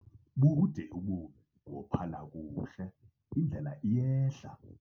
Bude ubomi, wophala kuhle indlela iyehla.